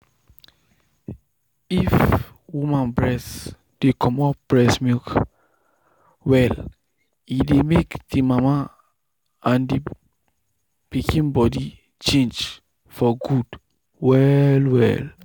if woman breast dey comot better milk well e dey make the mama and pikin body change for good well well.